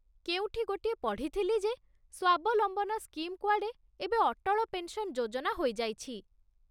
କେଉଁଠି ଗୋଟିଏ ପଢ଼ିଥିଲି ଯେ ସ୍ୱାବଲମ୍ବନ ସ୍କିମ୍ କୁଆଡ଼େ ଏବେ ଅଟଳ ପେନ୍‌ସନ୍ ଯୋଜନା ହୋଇଯାଇଛି ।